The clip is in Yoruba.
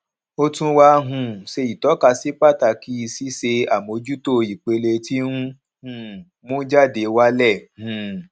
ó tún wà um ṣe itọka sí pàtàkì ṣíṣe àmójútó ipele ti n um mú jáde wálẹ um